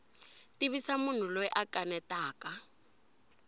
tivisa munhu loyi a kanetaka